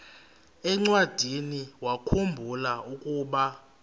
encwadiniwakhu mbula ukuba